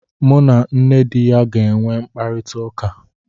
M na nne di ya ga enwe mkparịta ụka